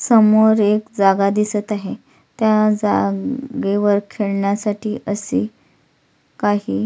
समोर एक जागा दिसत आहे त्या जागेवर खेळण्यासाठी असे काही--